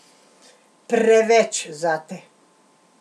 Preveč zate?